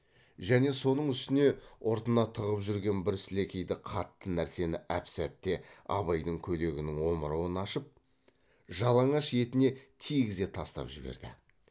және соның үстіне ұртына тығып жүрген бір сілекейді қатты нәрсені әп сәтте абайдың көйлегінің омырауын ашып жалаңаш етіне тигізе тастап жіберді